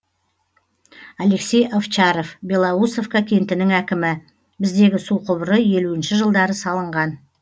алексей овчаров белоусовка кентінің әкімі біздегі су құбыры елуінші жылдары салынған